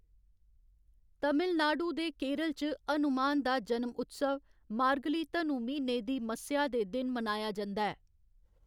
तमिलनाडु ते केरल च, हनुमान दा जनम उत्सव मार्गली धनु म्हीने दी मस्सेआ दे दिन मनाया जंदा ऐ।